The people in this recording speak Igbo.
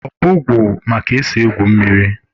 Obọgwụ ma ka esi egwu mmiri